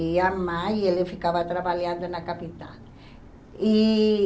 E a mãe, ele ficava trabalhando na capital. E